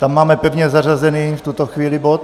Tam máme pevně zařazený, v tuto chvíli, bod.